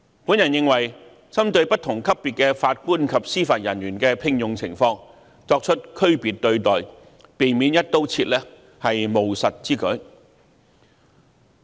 我認為，針對不同級別的法官及司法人員的聘用情況作出區別對待，避免"一刀切"處理，是務實之舉。